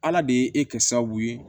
Ala de ye e kɛ sababu ye